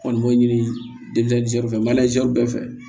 Kɔni b'o ɲini denmisɛnninw fɛ bɛɛ fɛ